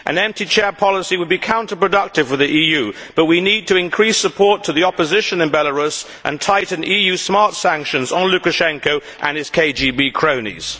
An empty chair policy would be counter productive with the EU, but we need to increase support to the opposition in Belarus and tighten EU smart sanctions on Lukashenko and his KGB cronies.